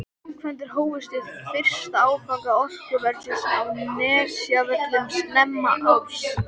Framkvæmdir hófust við fyrsta áfanga orkuversins á Nesjavöllum snemma árs.